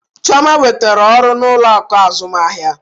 Chioma nwetara ọrụ n'ụlọ akụ azụmahịa.